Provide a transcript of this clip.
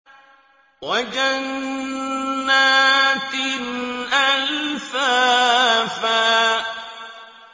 وَجَنَّاتٍ أَلْفَافًا